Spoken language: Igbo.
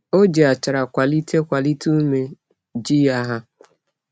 O ji achara kwalite kwalite ume ji ya ha.